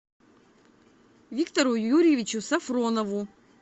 виктору юрьевичу сафронову